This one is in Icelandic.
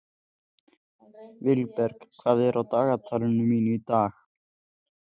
Vilberg, hvað er á dagatalinu mínu í dag?